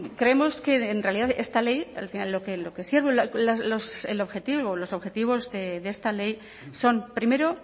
creemos que en realidad esta ley lo que sirve el objetivo o los objetivos de esta ley son primero